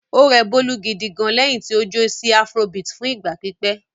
Ó rẹ Bólú gidi gan-an lẹ́yìn tí ó jó sí afrobeat fún ìgbà pípẹ́.